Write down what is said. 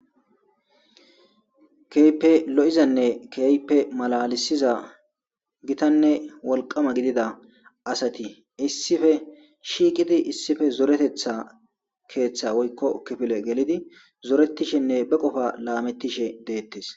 Keype lo'izanne keype malalisiza gitanne wolqama gidida asati issife shiiqidi issife zoretetha keeththa woykko kifile gelidi zoretishenne be qofa laamettishe deettes.